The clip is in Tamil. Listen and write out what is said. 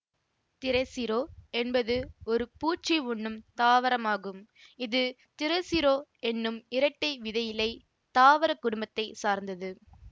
திரசிரோ என்பது ஒரு பூச்சி உண்ணும் தாவரம் ஆகும் இது திரசிரோ என்னும் இரட்டை விதையிலைத் தாவரக் குடும்பத்தை சார்ந்தது